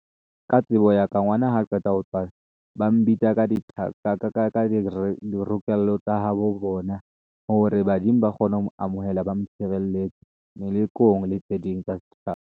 Ka tsebo ya ka ngwana ha qeta ho tswalwa, ba mbitsa ka di rupello tsa habo bona hore badimo ba kgone ho mo amohela, ba mo tshireletse melekong le tse ding tsa setjhaba.